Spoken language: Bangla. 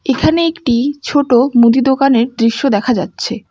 এখানে একটি ছোট মুদি দোকানের দৃশ্য দেখা যাচ্ছে।